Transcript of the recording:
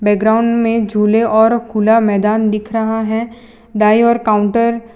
background में झूले और खुला मैदान दिख रहा है दाएं ओर काउंटर --